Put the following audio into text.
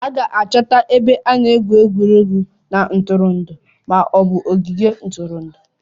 A ga-achọta ebe a na-egwu egwuregwu na ntụrụndụ ma ọ bụ ogige ntụrụndụ